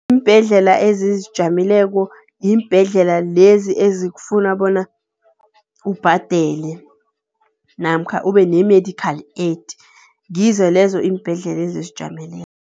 Iimbhedlela ezizijameleko yiimbhedlela lezi ezikufuna bona ubhadele namkha ube ne-medical aid, ngizo lezo iimbhedlela ezizijameleko.